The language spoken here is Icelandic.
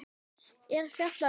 er fjallað um púður.